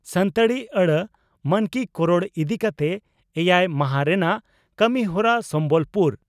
ᱥᱟᱱᱛᱟᱲᱤ ᱟᱹᱲᱟᱹ ᱢᱟᱱᱠᱤᱠᱚᱨᱚᱲ ᱤᱫᱤ ᱠᱟᱛᱮ ᱮᱭᱟᱭ ᱢᱟᱦᱟᱸ ᱨᱮᱱᱟᱜ ᱠᱟᱹᱢᱤᱦᱚᱨᱟ ᱥᱚᱢᱵᱚᱞᱯᱩᱨ